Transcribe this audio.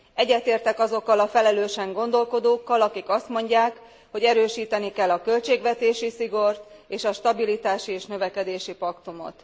Egyetértek azokkal a felelősen gondolkodókkal, akik azt mondják, hogy erősíteni kell a költségvetési szigort és a stabilitási és növekedési paktumot.